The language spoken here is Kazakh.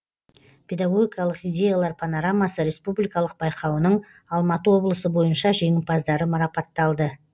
педагогикалық идеялар панорамасы республикалық байқауының алматы облысы бойынша жеңімпаздары марапатталды